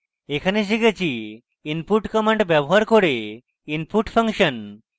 in tutorial আমরা শিখেছি input command ব্যবহার করে input ফাংশন